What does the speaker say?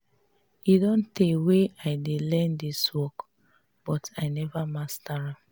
e don tey wey i dey learn dis work but i never master am